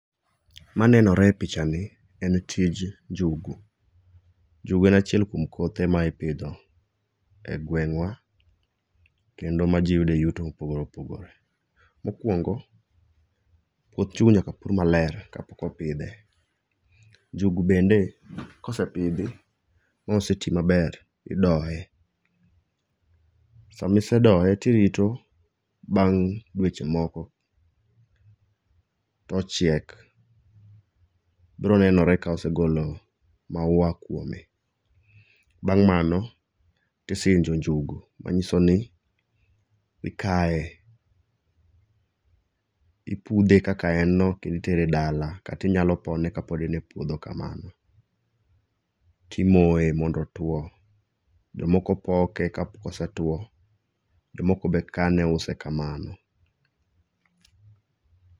Manenore e picha ni en tij njungu. Njugu en achiel kuom kothe ma ipidho e gweng'wa kendo ma ji yudo e yuto ma opogore opogore. Mokwongo, puoth njugu nyaka pur maler ka pok opidhe. Njugu bende kosepidhi moseti maber tidoye. Samisedoye tirito bang' dweche moko to ochiek. Biro nenore ka osegolo maua kwome. Bang' mano tisinjo njugu manyisoni ikaye. Ipudhe kaka en no kendo itere dala kata inyalo pone kapod en a puodho kamano, timoye mondo otuo. Jomoko poke ka ose tuo. Jomoko be kane use kamano.